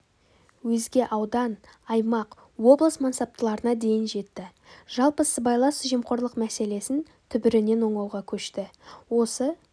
өзге аудан аймақ облыс мансаптыларына дейін жетті жалпы сыбайлас жемқорлық мәселесін түбірінен оңауға көшті осы